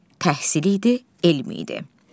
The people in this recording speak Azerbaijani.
Təhsil idi, elm idi.